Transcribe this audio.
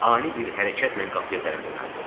Ani bir hərəkətlə qapıya tərəf yönəldi.